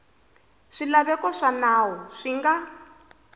swilaveko swa nawu swi nga